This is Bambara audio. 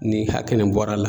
Ni hakɛ nin bɔra la